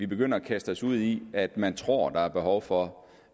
begynder at kaste sig ud i hvad man tror der er behov for